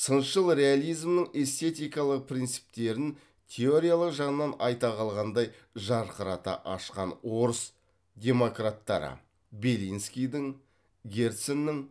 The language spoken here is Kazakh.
сыншыл реализмнің эстетикалық принциптерін теориялық жағынан айта қалғандай жарқырата ашқан орыс демократтары белинскийдің герценнің